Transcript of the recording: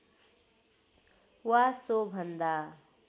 वा सो भन्दा